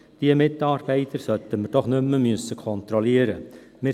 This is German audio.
Diese Mitarbeiter sollten wir doch nicht mehr kontrollieren müssen.